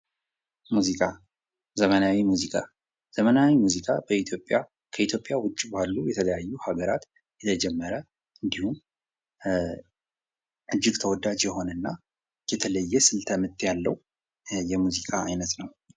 ሙዚቃ፦ ዘመናዊ ሙዚቃ፦ ዘመናዊ ሙዚቃ ከኢትዮጵያ ዉጭ ባሉ የተለያዩ ሀገራት የተጀመረ እንዲሁም እጂግ ተወዳጅ የሆነ እና የተለየ ስልተ ምት ያለው የሙዚቃ አይነት ነው።